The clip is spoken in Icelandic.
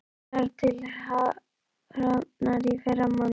Ég þarf til Hafnar í fyrramálið.